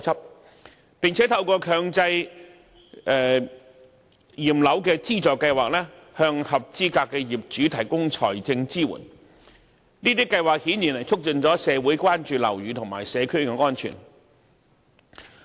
另外，房協和市建局亦透過強制驗樓資助計劃，向合資格業主提供財政支援，這些計劃顯然促進了社會對樓宇和社區安全的關注。